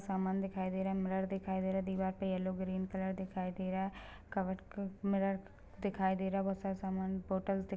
सामान दिखाई दे रहा है मिरर दिखाई दे रहा है दीवार पे येलो ग्रीन कलर दिखाई दे रहा है कबर्ड क मिरर दिखाई दे रहा है बहोत सारा समान बोतल --